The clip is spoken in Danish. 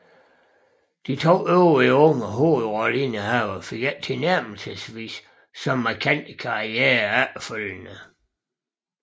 De to øvrige unge hovedrolleindehavere fik ikke tilnærmelsesvis så markante karrierer efterfølgende